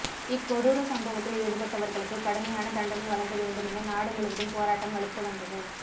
இக்கொடூர சம்பவத்தில் ஈடுபட்டவர்களுக்கு கடுமையானதண்டனைவழங்க வேண்டுமென நாடு முழுவதும் போராட்டம் வலுத்து வந்தது